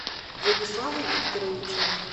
владислава викторовича